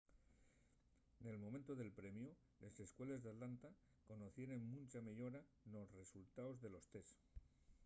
nel momentu del premiu les escueles d’atlanta conocieren muncha meyora nos resultaos de los tests